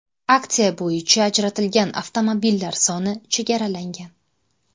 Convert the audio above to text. Aksiya bo‘yicha ajratilgan avtomobillar soni chegaralangan.